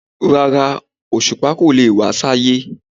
Rárá, Òṣùpá kò lè wá sí Ayé.